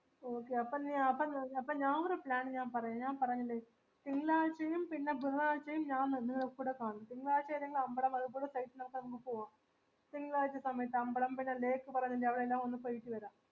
okay അപ്പൊ ഞാൻ അപ്പൊ ഞ അപ്പൊ ഞാൻ ഒരു plan ഞാൻ പറയാം ഞാൻ പറഞ്ഞില്ലേ തിങ്കളാഴ്ചയും പിന്ന ബുധനാഴ്ചയും ഞാൻ നിങ്ങടെ കൂടെ കാണും തിങ്കളാഴ്ച ഏതേലും അംബള ഒക്കെ നമക്ക് പോവാം തിങ്കളാഴ്ച സമയത്ത് അമ്പളം പിന്ന lake പറഞ്ഞില്ലേ അവിടെ എല്ലാം ഒന്ന് പോയിട്ട് വരാം